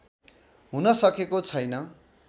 हुन सकेको छैन